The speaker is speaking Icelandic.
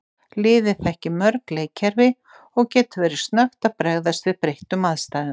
Liðið þekkir mörg leikkerfið og getur verið snöggt að bregðast við breyttum aðstæðum.